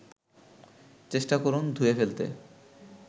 চেষ্টা করুন ধুয়ে ফেলতে